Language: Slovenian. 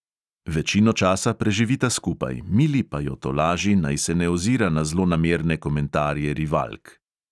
Večino časa preživita skupaj, mili pa jo tolaži, naj se ne ozira na zlonamerne komentarje rivalk.